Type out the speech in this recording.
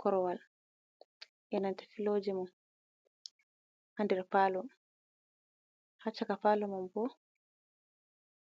Korwal enanta filooje mum, ha nder palo ha chaka falo man bo